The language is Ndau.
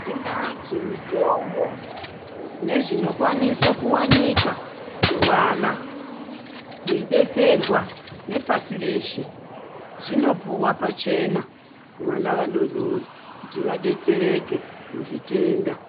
Tinadzo mutombo nezvinokwanise kuwanikwa kuvana veidetserwa nepashi reshe zvinopuwa pachena kuvana vadodori kuti vadetsereke muzvitenda.